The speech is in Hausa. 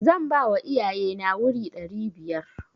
Zan bawa iyaye na wuri ɗari biyar.